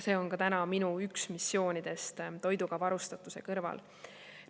See on täna üks minu missioonidest toiduga varustatuse kõrval.